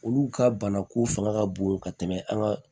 Olu ka banako fanga ka bon ka tɛmɛ an ka